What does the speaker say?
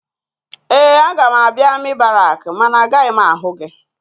Ee, aga m abịa amị barakị mana agaghị m ahụ gị.